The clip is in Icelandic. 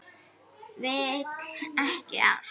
Vill ekki ást.